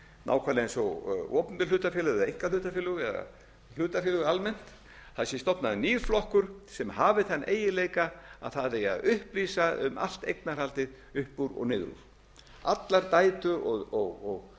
nákvæmlega eins og opinber hlutafélög eða einkahlutafélög eða hlutafélög almennt það sé stofnaður nýr flokkur sem hafi þann eiginleika að það eigi að upplýsa um allt eignarhaldið upp úr og niður úr allar dætur og